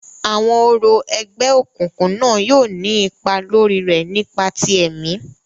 Awọn orȯ ẹgbẹokunkun na yóò ni ipa lori re nipa ti ẹmi.